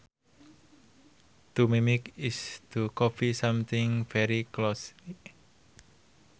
To mimic is to copy something very closely